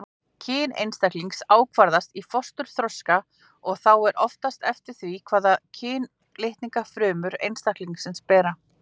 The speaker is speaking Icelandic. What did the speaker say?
Kyn einstaklings ákvarðast í fósturþroska og þá oftast eftir því hvaða kynlitninga frumur einstaklingsins bera.